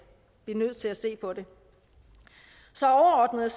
blive nødt til at se på det så overordnet